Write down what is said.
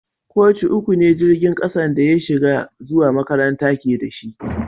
Koci uku ne jirigin kasan da na shiga zuwa makaranta ke da shi.